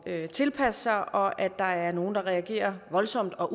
at tilpasse sig og at der er nogle der reagerer voldsomt og